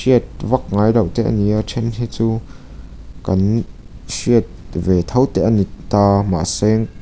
vak ngailoh te ani a a then hi chu kan hriat ve tho te ani taa mahse--